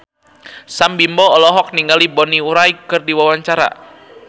Sam Bimbo olohok ningali Bonnie Wright keur diwawancara